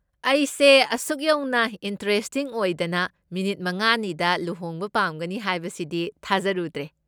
ꯑꯩꯁꯦ ꯑꯁꯨꯛ ꯌꯧꯅ ꯏꯟꯇ꯭ꯔꯦꯁꯇꯤꯡ ꯑꯣꯏꯗꯅ ꯃꯤꯅꯤꯠ ꯃꯉꯥꯅꯤꯗ ꯂꯨꯍꯣꯡꯕ ꯄꯥꯝꯒꯅꯤ ꯍꯥꯏꯕꯁꯤꯗꯤ ꯊꯥꯖꯔꯨꯗ꯭ꯔꯦ꯫